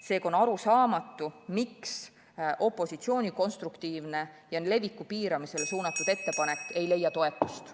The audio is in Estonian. Seega on arusaamatu, miks opositsiooni konstruktiivne ja leviku piiramisele suunatud ettepanek ei leia toetust.